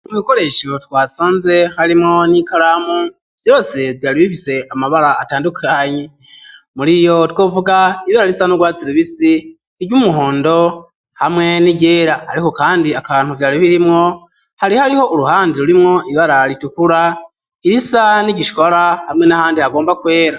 Mu bikoresho twasanze harimwo n'ikaramu vyose vyari bifise amabara atandukanye muriyo twovuga ibara risa n'urwatsi rubisi iryumuhondo hamwe n'iryera ariko kandi akantu vyari birimwo hari hariho uruhande rurimwo ibara ritukura risa n'igishwara hamwe n'ahandi hagomba kwera.